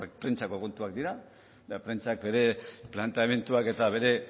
prentsako kontuak dira eta prentsak ere planteamenduak eta bere